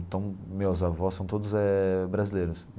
Então, meus avós são todos eh brasileiros.